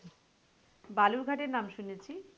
বালুর ঘাটের নাম শুনেছি।